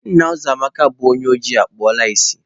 Nna Uzoamaka bu onye oji, ekpula ìsì